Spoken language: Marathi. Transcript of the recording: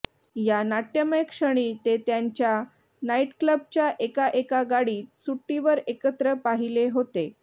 या नाट्यमय क्षणी ते त्यांच्या नाइटक्लबच्या एका एका गाडीत सुट्टीवर एकत्र पाहिले होते